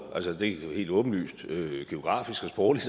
det er helt åbenlyst geografisk sprogligt